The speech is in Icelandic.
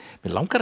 mig langar